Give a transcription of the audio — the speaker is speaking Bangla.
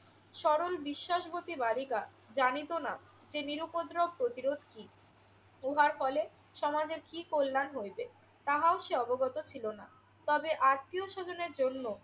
সরল বিশ্বাসবতী বালিকা জানিত না যে নিরুপদ্রব প্রতিরোধ কি। উহার ফলে সমাজের কি কল্যাণ হইবে তাহাও সে অবগত ছিল না। তবে আত্মীয়স্বজনের জন্য